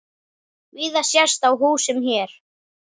Víða sést á húsum hér.